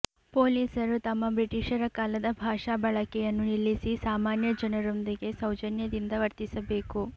ಪೊಲೀಸರು ತಮ್ಮ ಬ್ರಿಟಿಷರ ಕಾಲದ ಭಾಷಾ ಬಳಕೆಯನ್ನು ನಿಲ್ಲಿಸಿ ಸಾಮಾನ್ಯ ಜನರೊಂದಿಗೆ ಸೌಜನ್ಯದಿಂದ ವರ್ತಿಸಬೇಕು